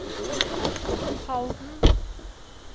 Halden